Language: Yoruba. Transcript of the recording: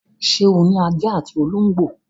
Ṣé o ní ajá àti olóńgbò l?